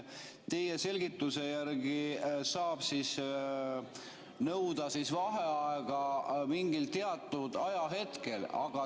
Teie selgituse järgi saab nõuda vaheaega mingil teatud ajahetkel.